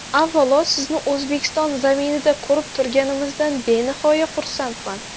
Avvalo, sizni O‘zbekiston zaminida ko‘rib turganimizdan benihoya xursandman.